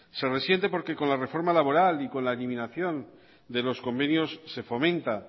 se resiente porque con la reforma laboral y con la eliminación de los convenios se fomenta